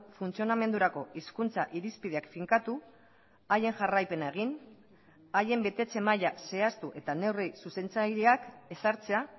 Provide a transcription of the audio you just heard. funtzionamendurako hizkuntza irizpideak finkatu haien jarraipena egin haien betetze maila zehaztu eta neurrizuzentzaileak ezartzea